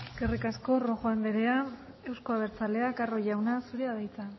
eskerrik asko rojo anderea euzko abertzaleak carro jauna zurea da hitza